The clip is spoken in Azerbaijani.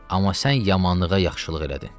Amma sən yamanlığa yaxşılıq elədin.